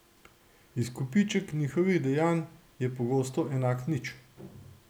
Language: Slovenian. Izkupiček njihovih dejanj je pogosto enak nič.